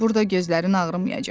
Burda gözlərin ağrımayacaq.